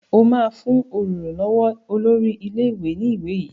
O ma fún olùrànlówó olórí ilé ìwé ní ìwé yí!